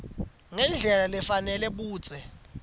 ngendlela lefanele budze